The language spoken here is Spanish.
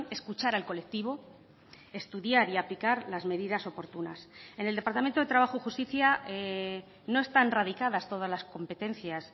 escuchar al colectivo estudiar y aplicar las medidas oportunas en el departamento de trabajo y justicia no están radicadas todas las competencias